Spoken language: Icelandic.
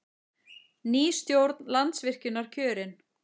Ný stjórn Landsvirkjunar kjörin